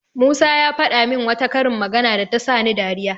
Musa ya faɗa min wata karin magana da ta sani dariya.